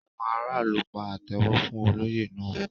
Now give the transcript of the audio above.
Àwọn aráàlú pa àtẹ́wọ́ fún olóyè náà.